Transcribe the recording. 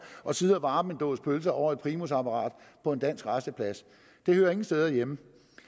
må sidde og varme en dåse pølser over et primusapparat på en dansk rasteplads det hører ingen steder hjemme